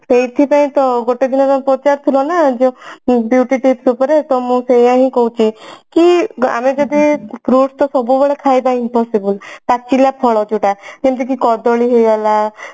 ସେଇଥି ପାଇଁ ତ ଗୋଟେଦିନ ପଚାରୁଥିଲ ନା beauty tips ଉପରେ ତ ମୁଁ ସେଇଆ ହିଁ କହୁଛି କି ଆମେ ଯଦି fruits ଟା ସବୁବେଳେ ଖାଇବା impossible ପାଚିଲା ଫଳ ଯୋଉଟା ଯେମତିକି କଦଳୀ ହେଇଗଲା